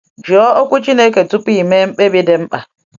Jụọ Okwu Chineke tupu ime mkpebi dị mkpa.